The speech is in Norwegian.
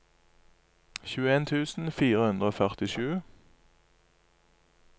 tjueen tusen fire hundre og førtisju